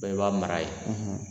i b'a mara yen